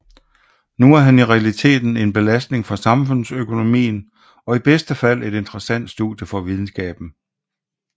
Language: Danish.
Nu er han i realiteten en belastning for samfundsøkonomien og i bedste fald et interessant studie for videnskaben